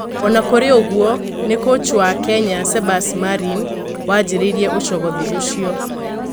Ona kurĩoguo, ni Kũchi wa Kenya, Sebasi Marine wanjĩrĩirie ucogothi ũcio.